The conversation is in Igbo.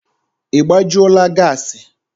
Ị gbajula gassi?